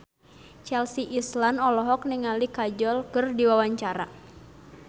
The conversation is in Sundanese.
Chelsea Islan olohok ningali Kajol keur diwawancara